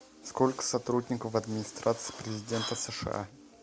сколько сотрудников в администрации президента сша